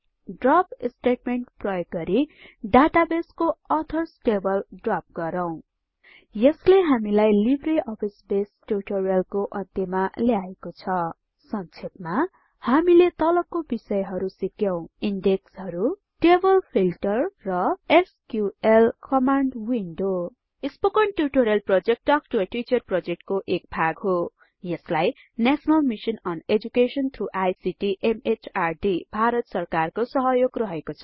drop statement प्रयोग गरि डाटाबेसको अथर्स टेबल ड्रप गरौं यसले हामीलाई लिब्रे अफिस बेसको ट्युटोरियलको अन्त्यमा ल्याएको छ संक्षेपमा हामीले तलको बिषयहरु सिक्यौं इन्डेक्सहरु टेबल फिल्टर र SQL command window spoken tutorial project talk to a teacher प्रोजेक्टको एक भाग हो यसलाई national mission on education through ICT MHRD Bharat सरकारको सहयोग रहेको छ